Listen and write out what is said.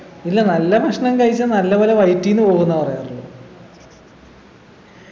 ഇല്ല നല്ല ഭക്ഷണം കഴിച്ച നല്ല പോലെ വയറ്റിന്നു പോവുന്ന പറയാറൂളേ